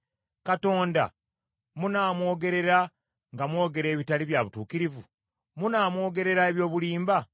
Katonda munaamwogerera nga mwogera ebitali bya butuukirivu? Munaamwogerera eby’obulimba?